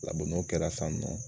n'o kɛra san nɔ